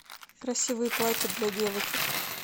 красивые платья для девочек